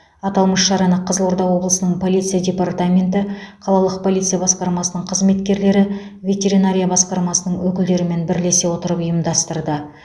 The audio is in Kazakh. аталмыш шараны қызылорда облысының полиция департаменті қалалық полиция басқармасының қызметкерлері ветеринария басқармасының өкілдерімен бірлесе отырып ұйымдастырды